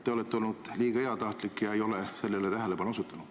Te olete olnud liiga heatahtlik ega ole sellele tähelepanu osutanud.